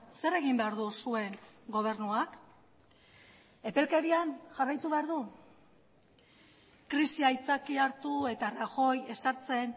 zer egin behar du zuen gobernuak epelkerian jarraitu behar du krisia aitzakia hartu eta rajoy ezartzen